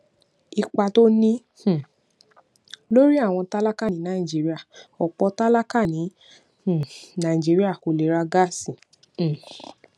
ipa tó ní um lórí àwọn tálákà ní nàìjíríà òpò tálákà ní um nàìjíríà kò lè ra gáàsì um